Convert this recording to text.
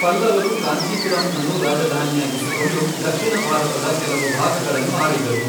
ಪಲ್ಲವರು ಕಾಂಚಿಪುರಂಅನ್ನು ರಾಜಧಾನಿಯಾಗಿಸಿಕೊಂಡು ದಕ್ಷಿಣ ಭಾರತದ ಕೆಲವು ಭಾಗಗಳನ್ನು ಆಳಿದರು.